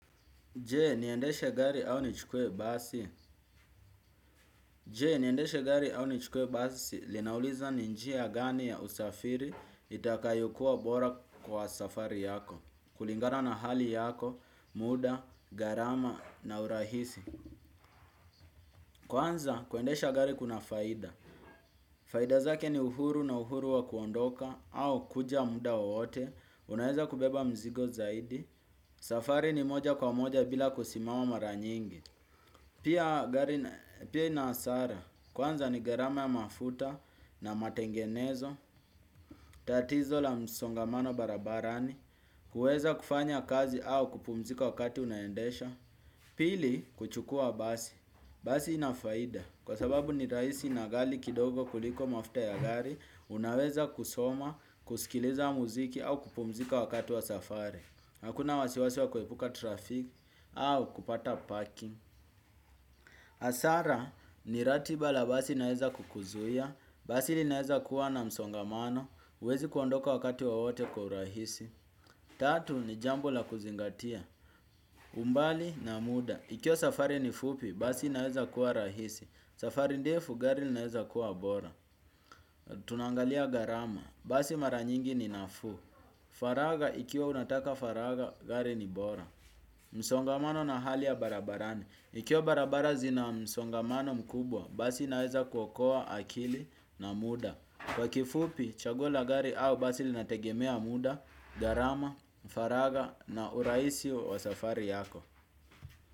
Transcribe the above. Je, niendeshe gari au nichukue basi? Je, niendeshe gari au nichukue basi, linauliza ni njia gani ya usafiri itakayokuwa bora kwa safari yako. Kulingana na hali yako, muda, gharama na urahisi. Kwanza, kuendesha gari kuna faida. Faida zake ni uhuru na uhuru wa kuondoka, au kuja muda wowote, unaeza kubeba mzigo zaidi. Safari ni moja kwa moja bila kusimama mara nyingi. Pia ina hasara, kwanza ni gharama ya mafuta na matengenezo, tatizo la msongamano barabarani, kuweza kufanya kazi au kupumzika wakati unaendesha. Pili, kuchukua basi. Basi ina faida, kwa sababu ni rahisi na ghali kidogo kuliko mafuta ya gari, unaweza kusoma, kusikiliza muziki au kupumzika wakati wa safari. Hakuna wasiwasi wa kuepuka trafiki au kupata parking. Hasara ni ratiba la basi linaeza kukuzuia. Basi linaeza kuwa na msongamano huwezi kuondoka wakati wowote kwa urahisi. Tatu ni jambo la kuzingatia. Umbali na muda ikiwa safari ni fupi basi inaeza kuwa rahisi. Safari ndefu gari linaeza kuwa bora. Tunaangalia gharama. Basi mara nyingi ni nafuu. Faragha ikiwa unataka faragha gari ni bora. Msongamano na hali ya barabarani ikiwa barabara zina msongamano mkubwa, basi inaweza kuokoa akili na muda. Kwa kifupi, chaguo la gari au basi linategemea muda, gharama, faragha na urahisi wa safari yako.